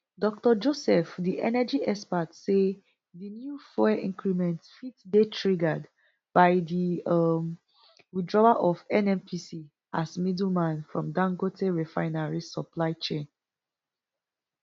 dr joseph di energy expert say di new fuel increment fit dey triggered by di um withdrawal of nnpc as middleman from dangote refinery supply chain